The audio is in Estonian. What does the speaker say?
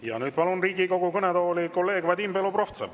Ja nüüd palun Riigikogu kõnetooli kolleeg Vadim Belobrovtsevi.